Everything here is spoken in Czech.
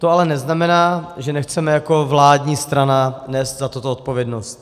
To ale neznamená, že nechceme jako vládní strana nést za toto odpovědnost.